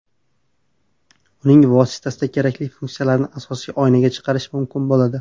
Uning vositasida kerakli funksiyalarni asosiy oynaga chiqarish mumkin bo‘ladi.